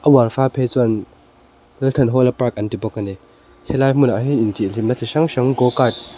a uar fal phei chuan lalthanhawla park an ti bawk a ni helai hmunah hian intihhlimna chi hrang hrang go cart --